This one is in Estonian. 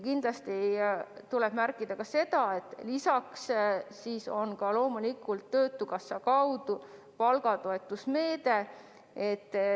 Kindlasti tuleb märkida sedagi, et loomulikult on kasutada ka töötukassa palgatoetuse meede.